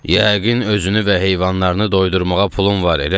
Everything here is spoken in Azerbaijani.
Yəqin özünü və heyvanlarını doydurmağa pulun var, elədir?